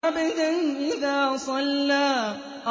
عَبْدًا إِذَا صَلَّىٰ